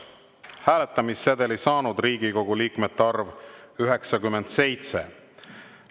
Hääletamissedeli saanud Riigikogu liikmete arv – 97.